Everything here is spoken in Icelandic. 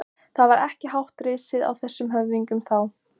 Það var ekki hátt risið á þessum höfðingjum þá!